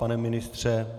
Pane ministře?